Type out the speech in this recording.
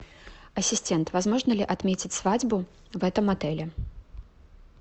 ассистент возможно ли отметить свадьбу в этом отеле